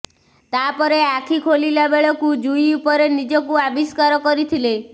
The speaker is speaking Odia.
ତା ପରେ ଆଖି ଖୋଲିଲା ବେଳକୁ ଜୁଇ ଉପରେ ନିଜକୁ ଆବିଷ୍କାର କରିଥିଲେ